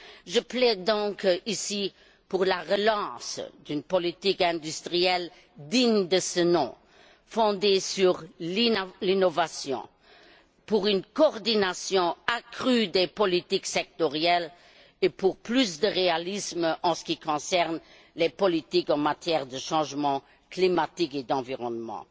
Je plaide donc ici pour la relance d'une politique industrielle digne de ce nom, fondée sur l'innovation, pour une coordination accrue des politiques sectorielles et pour plus de réalisme en ce qui concerne les politiques en matière de changement climatique et d'environnement.